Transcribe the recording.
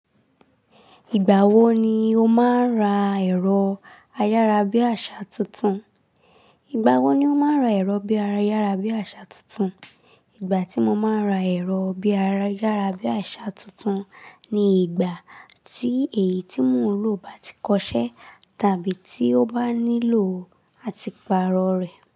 Ìgbà wo ni o máa ń ra ẹ̀rọ ayárabíàṣá tuntun? Ìgbà wo ni o máa ń ra ẹ̀rọ bí ara ayárabíàṣá tuntun? Ìgbà tí mo máa ń ra ẹ̀rọ bí ara ayárabíàṣá tuntun ni ìgbà tí èyí tí mò ń lò bá ti kọ ṣẹ́ tàbí tí ó bá nílò àtì paarọ̀ rẹ̀.